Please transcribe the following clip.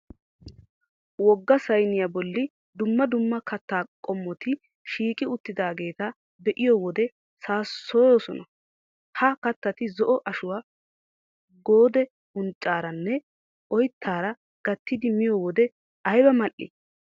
Wogga sayniya bolli dumma dumma kattaa commotion shiiqi uttidaageeti be'iyo wode saassoyoosona. Ha kattati zo"o ashuwa Goode unccaaranne oyttaara gattidi miyo wode ayba mal"ii.